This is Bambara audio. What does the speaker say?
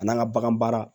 A n'an ka bagan baara